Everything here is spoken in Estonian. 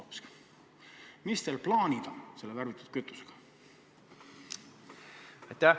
Millised on teie plaanid selle värvitud kütusega?